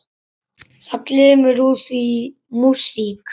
Það glymur úr því músík.